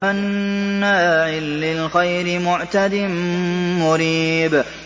مَّنَّاعٍ لِّلْخَيْرِ مُعْتَدٍ مُّرِيبٍ